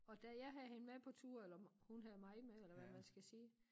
Og da jeg havde hende med på tur eller hun havde mig med eller hvad man skal sige